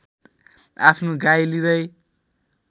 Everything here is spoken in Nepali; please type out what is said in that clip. आफ्नो गाई लिँदै